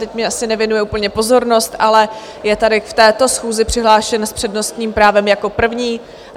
Teď mi asi nevěnuje úplně pozornost, ale je tady v této schůzi přihlášen s přednostním právem jako první.